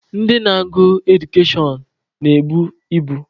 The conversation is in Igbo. Ndị na-agụ Edukashọn na-ebu ibu.